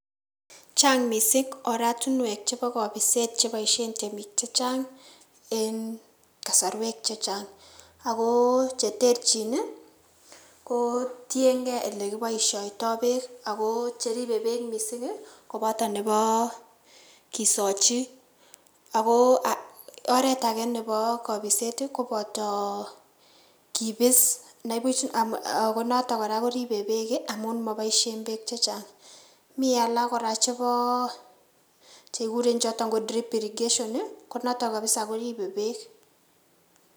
Chang' missing oratinuek chebo kobiset cheboisien temik chechang' en kosorwek chechang' agoo cheterchin ii kotiengei ilekiboisiotoi beek ago cheribe beek missing' koboto nebo kisochi ago aa oret age nebo kopiset koboto kipis nibuch ako noton kora koribe beek komokiboisien beek chechang'. Mi alak kora cheboo kikuren choton drip irrigation konoton kabisa koribe beek.